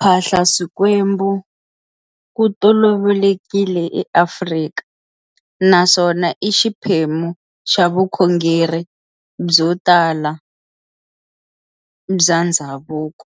Phahla swikwembu ku tolovelekile eAfrika, naswona i xiphemu xa vukhongeri byo tala by ndhzavuko.